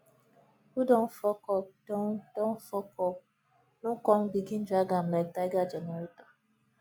who don fuck up don don fuck up no con begin drag am lyk tiger generator